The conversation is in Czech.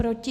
Proti?